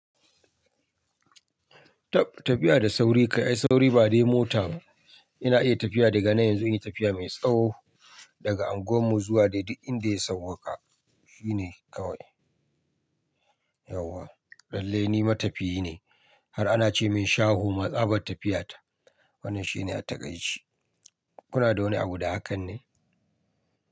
Tab tafiya da sauri, kai sauri ai ba dai mota ba. Ina iya tafiya daga nan yanzu in yi tafiya mai tsawo daga anguwar mu zuwa dai duk inda ya sauwaƙa. Shi ne kawai. Yauwa, lallai ni matafiyi ne. Har ana ce min shaho ma tsabar tafiya ta. Wannan shine attaƙai ce. Kuna da wani abu da hakan ne?